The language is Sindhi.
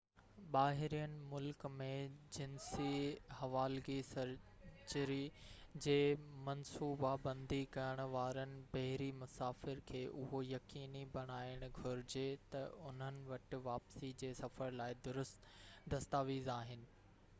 ٻاهرين ملڪ ۾ جنسي حوالگي سرجري جي منصوبا بندي ڪرڻ وارن بحري مسافر کي اهو يقيني بڻائڻ گهرجي تہ انهن وٽ واپسي جي سفر لاءِ درست دستاويز آهن